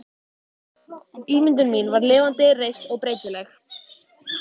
Ímyndun mín var lifandi, reist, breytileg.